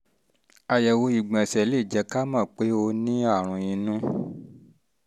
àyẹ̀wò ìgbọ̀nsẹ̀ lè jẹ́ ká mọ̀ pé o mọ̀ pé o ní aràn inú